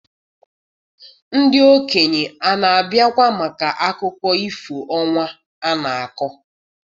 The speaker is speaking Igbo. ndị okenye na-abịakwa maka akụkọ ifo ọnwa na-akọ?